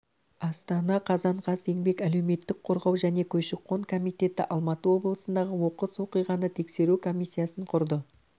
астана қазан қаз еңбек әлеуметтік қорғау және көші-қон комитеті алматы облысындағы оқыс оқиғаны тексеру комиссиясын құрды